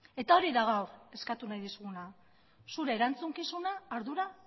eta hori da gaur eskatu nahi dizuguna zure erantzukizuna ardura